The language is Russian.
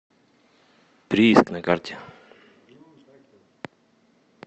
прииск на карте